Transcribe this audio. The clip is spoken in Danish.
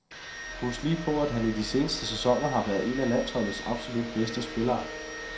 Husk lige på, at han i de seneste sæsoner har været en af landsholdets absolut bedste spillere.